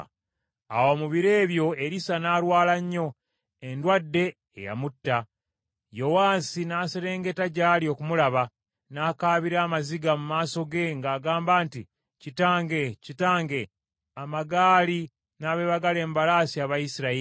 Awo mu biro ebyo Erisa n’alwala nnyo, endwadde eyamutta, Yowaasi n’aserengeta gy’ali okumulaba, n’akaabira amaziga, mu maaso ge ng’agamba nti, “Kitange, Kitange, amagaali n’abeebagala embalaasi aba Isirayiri!”